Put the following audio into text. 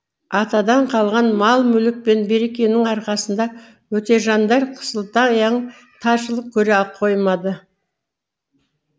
атадан қалған мал мүлік пен берекенің арқасында өтежандар қысылтаяң таршылық көре қоймады